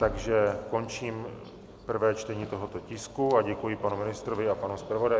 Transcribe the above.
Takže končím prvé čtení tohoto tisku a děkuji panu ministrovi a panu zpravodaji.